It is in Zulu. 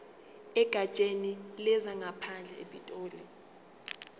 egatsheni lezangaphandle epitoli